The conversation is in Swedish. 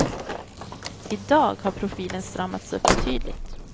I dag har profilen stramats upp betydligt.